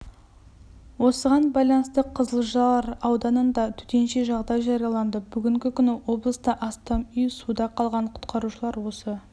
осыған байланысты қызылжар ауданында төтенше жағдай жарияланды бүгінгі күні облыста астам үй суда қалған құтқарушылар осы